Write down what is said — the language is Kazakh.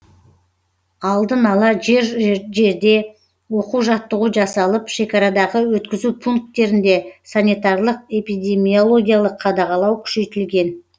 алдын ала жер жерде оқу жаттығу жасалып шекарадағы өткізу пункттерінде санитарлық эпидемиологиялық қадағалау күшейтілген